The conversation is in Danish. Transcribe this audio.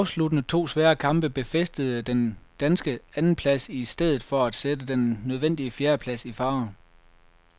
De afsluttende to svære kamp befæstede den danske andenplads i stedet for at sætte den nødvendige fjerdeplads i fare.